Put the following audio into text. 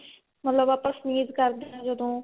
ਮਤਲਬ ਆਪਾਂ sneeze ਕਰਦੇ ਆਂ ਜਦੋਂ